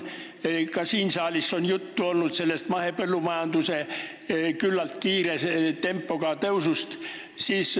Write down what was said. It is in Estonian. Ka siin saalis on juttu olnud mahepõllumajanduse küllaltki kiire tempoga kasvust.